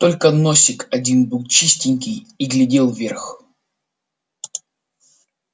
только носик один был чистенький и глядел вверх